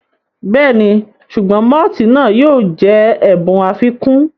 Bẹ́ẹ̀ni, sùgbọ́n mọ́tìì náà yóò jẹ́ ẹ̀bùn àfikún